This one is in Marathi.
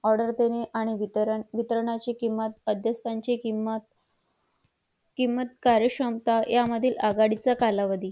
order आणि वितरणाचे किंमत आणि मध्यस्तानाचे किंमत किंमत कार्य क्षमता यामध्ये आघाडीचा कालावधी